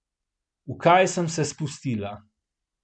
V kaj sem se spustila!